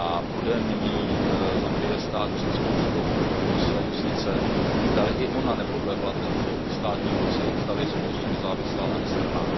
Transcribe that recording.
Zambie bude nyní stát před zkouškou své justice, zdali i ona nepodlehla tlaku státní moci, zdali je skutečně nezávislá a nestranná.